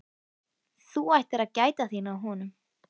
Þú ættir að gæta þín á honum